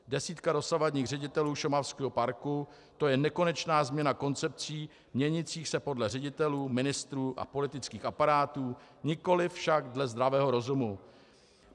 Desítka dosavadních ředitelů šumavského parku, to je nekonečná změna koncepcí měnících se podle ředitelů, ministrů a politických aparátů, nikoli však dle zdravého rozumu.